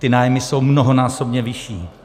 Ty nájmy jsou mnohonásobně vyšší.